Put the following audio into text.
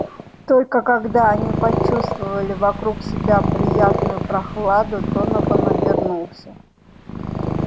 только когда они почувствовали вокруг себя приятную прохладу донован обернулся